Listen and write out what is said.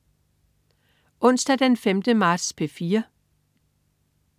Onsdag den 5. marts - P4: